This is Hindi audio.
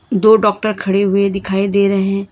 दो डॉक्टर खड़े हुए दिखाई दे रहे हैं।